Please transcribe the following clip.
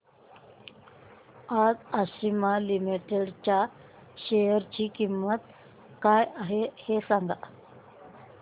आज आशिमा लिमिटेड च्या शेअर ची किंमत काय आहे हे सांगा